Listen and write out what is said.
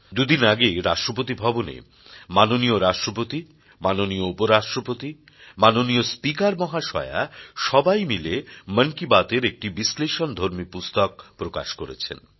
দু দিন আগে রাষ্ট্রপতি ভবনে মাননীয় রাষ্ট্রপতি মাননীয় উপ রাষ্ট্রপতি মাননীয় স্পিকার মহাশয়া সবাই মিলে মন কি বাত এর একটি বিশ্লেষণধর্মী পুস্তক প্রকাশ করেছেন